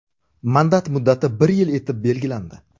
Mandat muddati bir yil etib belgilandi.